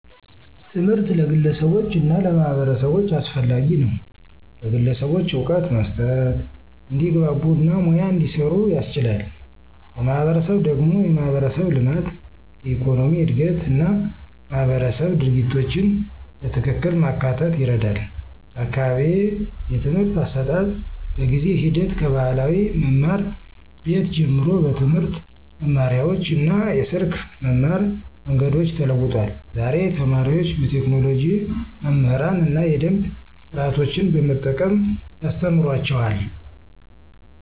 ትምህርት ለግለሰቦች እና ለማህበረሰቦች አስፈላጊ ነው፤ ለግለሰቦች እውቀት መስጠት፣ እንዲግባ እና ሙያ እንዲሰሩ ያስችላል። ለማህበረሰብ ደግሞ የማህበረሰብ ልማት፣ የኢኮኖሚ እድገት እና ማህበረሰብ ድርጊቶችን በትክክል ማካተት ይረዳል። በአካባቢዬ የትምህርት አሰጣጥ በጊዜ ሂደት ከባህላዊ መማር ቤት ጀምሮ በትምህርት መማሪያዎች እና የስልክ መማር መንገዶች ተለውጧል። ዛሬ ተማሪዎች በቴክኖሎጂ መምህራን እና የደምብ ስርዓቶችን በመጠቀም ያስተማሩአቸዋል።